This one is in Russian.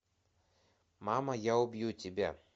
мама я убью тебя